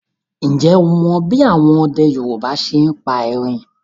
Ǹjẹ́ o mọ bí àwọn ọdẹ Yorùbá ṣe ń pa erin